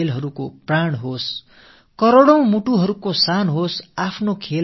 பலகோடி பேர் கொள்ளும் பெருமிதமே